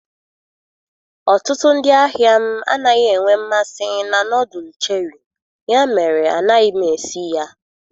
Ọtụtụ ndị ahịa m anaghị enwe mmasị na nọdụlụ cheri, ya mere anaghị m esi ya.